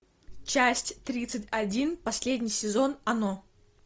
часть тридцать один последний сезон оно